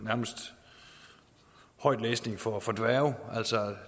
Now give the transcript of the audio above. nærmest højtlæsning for for dværge altså